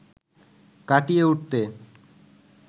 কাটিয়ে উঠতে